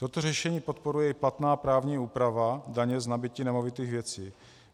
Toto řešení podporuje i platná právní úprava daně z nabytí nemovitých věcí.